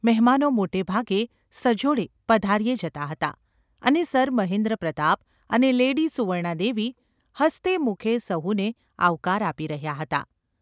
મહેમાનો મોટે ભાગે સજોડે – પધાર્યે જતાં હતાં અને સર મહેન્દ્રપ્રતાપ અને લેડી સુવર્ણાદેવી હસતે મુખે સહુને આવકાર આપી રહ્યાં હતાં.